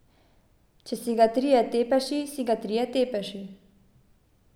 Če si ga trije Tepeši, si ga trije Tepeši ...